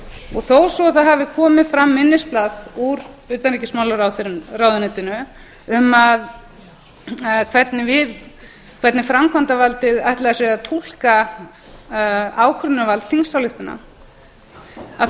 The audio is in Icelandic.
og þó svo að það hafi komið fram minnisblað úr utanríkismálaráðuneytinu um hvernig framkvæmdarvaldið ætlaði sér að túlka ákvörðunarvald þingsályktana að þá